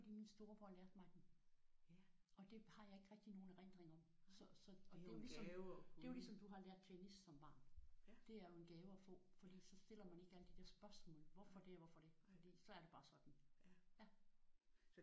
Fordi min storebror lærte mig dem og det har jeg ikke rigtig nogen erindring om så så og det er jo ligesom du har lært tennis som barn. Det er jo en gave at få fordi så stiller man ikke alle de der spørgsmål hvorfor det og hvorfor det? Så er det bare sådan